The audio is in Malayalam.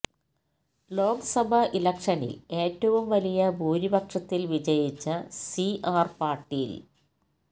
ലോക്സഭാ ഇലക്ഷനില് ഏറ്റവും വലിയ ഭൂരിപക്ഷത്തിൽ വിജയിച്ച സി ആർ പാട്ടീൽ